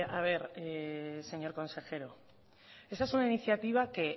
a ver señor consejero esa es una iniciativa que es